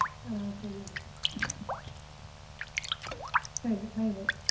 ಆ ಸರಿ ಹಾಗಿದ್ರೆ ಸರಿ bye, bye.